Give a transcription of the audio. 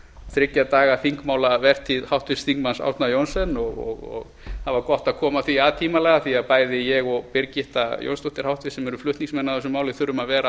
þriggja daga þingmálavertíð háttvirtum þingmanni árna johnsens það var gott að koma því að tímanlega því að bæði ég og birgitta jónsdóttir háttvirtur þingmaður sem erum flutningsmenn að þessu máli þurfum að vera